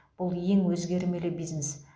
бұл ең өзгермелі бизнес